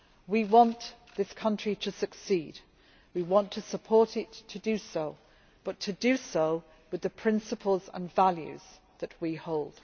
We want this country to succeed, we want to support it to do so, but to do so with the principles and values that we hold.